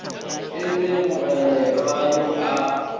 e le mogolelwa yo a